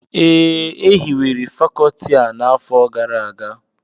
Ee, e hiwere Fakọọti a n'afọ gara aga